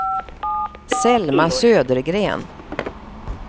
Selma Södergren